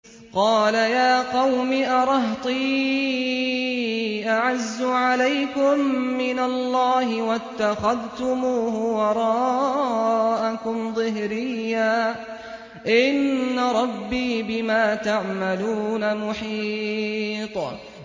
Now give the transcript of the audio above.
قَالَ يَا قَوْمِ أَرَهْطِي أَعَزُّ عَلَيْكُم مِّنَ اللَّهِ وَاتَّخَذْتُمُوهُ وَرَاءَكُمْ ظِهْرِيًّا ۖ إِنَّ رَبِّي بِمَا تَعْمَلُونَ مُحِيطٌ